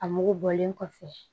A mugu bɔlen kɔfɛ